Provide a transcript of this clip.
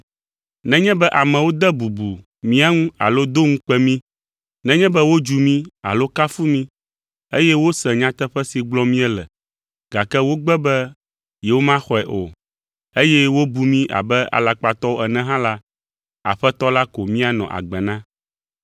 Nenye be amewo de bubu mía ŋu alo do ŋukpe mí, nenye be wodzu mí alo kafu mí, eye wose nyateƒe si gblɔm míele, gake wogbe be yewomaxɔe o, eye wobu mí abe alakpatɔwo ene hã la, Aƒetɔ la ko míanɔ agbe na.